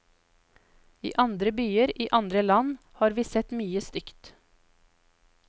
I andre byer i andre land har vi sett mye stygt.